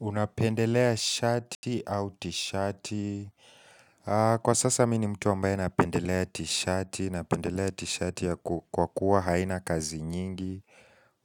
Unapendelea shati au tishati Kwa sasa mimi ni mtu ambaye napendelea tishati Napendelea tishati kwa kuwa haina kazi nyingi